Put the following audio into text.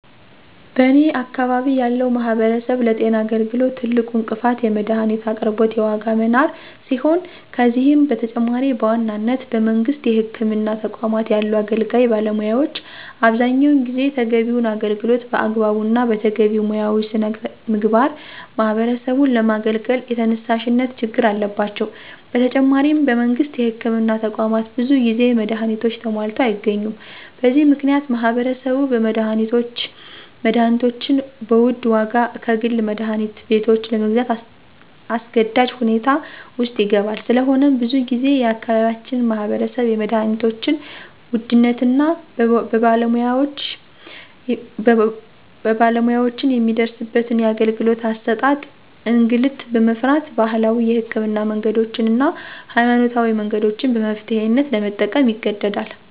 በኔ አካባቢ ያለው ማህበረሰብ ለጤና አገልግሎት ትልቁ እንቅፋት የመድሀኒት አቅርቦት የዋጋ መናር ሲሆን ከዚህም በተጨማሪ በዋናነት በመንግስት የህክምና ተቋማት ያሉ አገልጋይ ባለሙያዎች አብዛኛውን ጊዜ ተገቢውን አገልግሎት በአግባቡ እና በተገቢው ሙያዊ ሥነ ምግባር ማህበረሰቡን ለማገልገል የተነሳሽነት ችግር አለባቸው። በተጨማሪም በመንግስት የህክምና ተቋማት ብዙ ጊዜ መድሀኒቶች ተሟልተው አይገኙም። በዚህ ምክንያት ማህበረሰቡ መድሀኒቶችን በውድ ዋጋ ከግል መድሀኒት ቤቶች ለግዛት አስገዳጅ ሁኔታ ውስጥ ይገባል። ስለሆነም ብዙ ጊዜ የአካባቢያችን ማህበረሰብ የመድሀኒቶችን ውድነት እና በባለሙያወችን የሚደርስበትን የአገልግሎት አሠጣጥ እንግልት በመፍራት ባህላዊ የህክምና መንገዶችን እና ሀይማኖታዊ መንገዶችን በመፍትሔነት ለመጠቀም ይገደዳል።